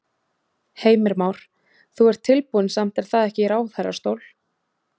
Heimir Már: Þú ert tilbúinn samt er það ekki í ráðherrastól?